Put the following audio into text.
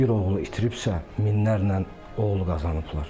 Bir oğlu itiribsə, minlərlə oğlu qazanıblar.